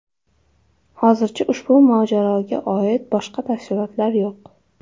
Hozircha ushbu mojaroga oid boshqa tafsilotlar yo‘q.